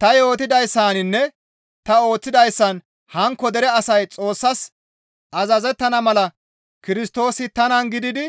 Ta yootidayssaninne ta ooththidayssan hankko dere asay Xoossas azazettana mala Kirstoosi tanan gididi